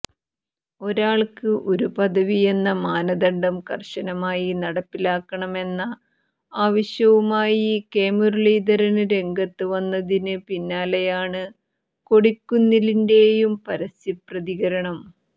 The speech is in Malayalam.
ഒരാള്ക്ക് ഒരു പദവിയെന്ന മാനദണ്ഡം കര്ശനമായി നടപ്പിലാക്കണമെന്ന ആവശ്യവുമായി കെ മുരളീധരന് രംഗത്ത് വന്നതിന് പിന്നാലെയാണ് കൊടിക്കുന്നിലിന്റെയും പരസ്യ പ്രതികരണം